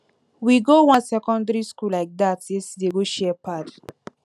we go wan secondary school like dat yesterday go share pad